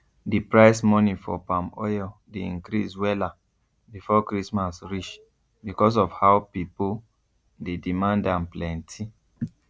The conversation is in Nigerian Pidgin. d price money for palm oil dey increase wella before christmas reach becos of how pipo dey demand am plenti